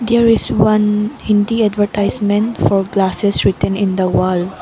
there is one hindi advertisement for glasses written in the wall.